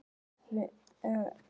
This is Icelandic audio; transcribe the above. Opnar hana.